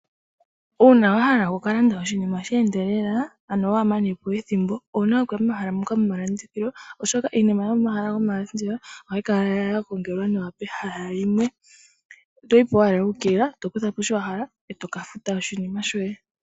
Uuna wahala okukalanda oshinima sha endelela ano wahamane po ethimbo, owuna okuya momahala moka gomalandithilo oshoka iinima yomomahala gomalandithilo ohayikala yagongwelwa nawa pehala limwe. Oto yi po owala wuukilila, tokutha po shiwahala etokafuta oshinima shoye.